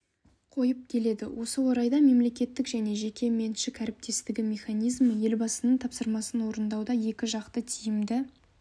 қойып келеді осы орайда мемлекеттік және жеке меншік әріптестігі механизмі елбасының тапсырмасын орындауда екіжақты тиімді